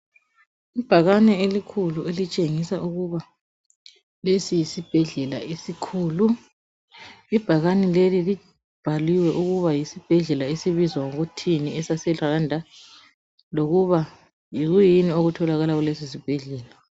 Ibhakane elikhulu elitshengisa ukuba lesi yisibhedlela esikhulu. Ibhakane leli libhaliwe ukuba yisibhedlela esibizwa ngokuthini esaseRwanda lokuba yikuyini okutholakala kuleso sibhedlela.